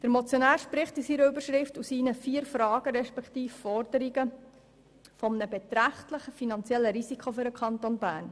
Der Motionär spricht in der Motionsüberschrift sowie in seinen vier Fragen respektive Forderungen von einem beträchtlichen finanziellen Risiko für den Kanton Bern.